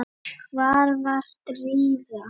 Hvar var Drífa?